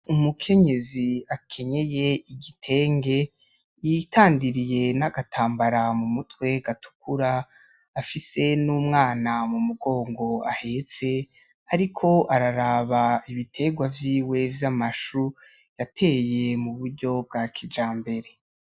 Umukenyezi akenyeye igitenge, yitandiriye n’agatambara mu mutwe gatukura, afise n’umwana mu mugongo ahetse, ariko araraba ibitengwa vyiwe vy’amashu yateye mu buryo bwa kijambere.